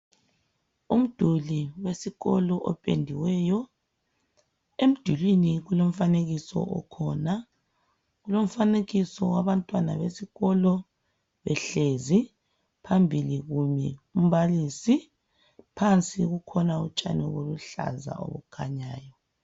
Umduli wesikolo opendiweyo, emdulwini kulomfanekiso okhona, kulomfanekiso wabantwana besikolo behlezi, phambili kumi umbalisi, phansi kukhona utshani olubuhlaza obukhanyayo.